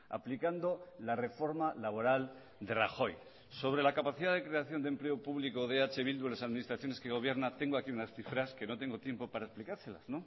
aplicando la reforma laboral de rajoy sobre la capacidad de creación de empleo público de eh bildu en las administraciones que gobierna tengo aquí unas cifras que no tengo tiempo para explicárselas